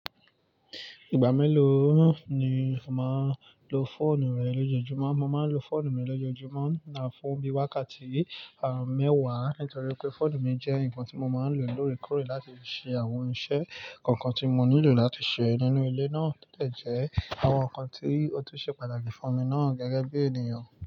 Ìgbà mélòó ni o máa ń lo fóònù rẹ lójoojúmọ́? Mo máa ń lo fóònù mi lójoojúmọ́ fún bí i wákàtí mẹ́wàá nítorí pé fóònù mi jẹ́ nǹkan tí mo máa ń lò lóòrèkóòrè láti ṣe àwọn iṣẹ́ kankan tí mo nílò láti ṣe nínú ilé náà to dẹ̀jẹ́ àwọn nǹkan tí ó ti ṣe pàtàkì fún mi náà gẹ́gẹ́ bí ènìyàn.